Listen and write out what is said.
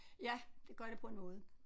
Ja det gør det på en måde